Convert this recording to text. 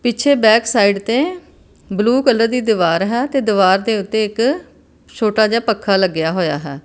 ਪਿੱਛੇ ਬੈਕਸਾਈਡ ਤੇ blue colour ਦੀ ਦੀਵਾਰ ਹੈ ਤੇ ਦਿਵਾਰ ਦੇ ਓੱਤੇ ਇੱਕ ਛੋਟਾ ਜਿਹਾ ਪੱਖਾ ਲੱਗਿਆ ਹੋਇਆ ਹੈ।